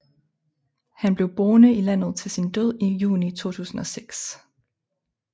Han blev boende i landet til sin død i juni 2006